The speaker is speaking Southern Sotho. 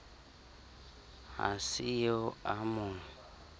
ha se eo a mo